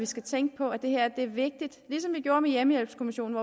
skal tænke på at det er vigtigt ligesom vi gjorde med hjemmehjælpskommissionen